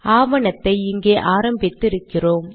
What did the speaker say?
ஆவணத்தை இங்கே ஆரம்பித்து இருக்கிறோம்